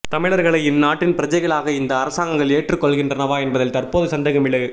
தமிழர்களை இந்நாட்டின் பிரஜைகளாக இந்த அரசாங்கங்கள் ஏற்றுக் கொள்கின்றனவா என்பதில் தற்போது சந்தேகம் எழு